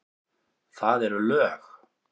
Það eru lög.